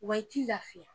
Wa i ti lafiya